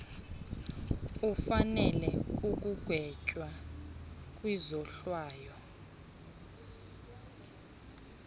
ufanele ukugwetywa kwizohlwayo